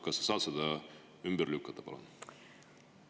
Kas sa saad selle ümber lükata, palun?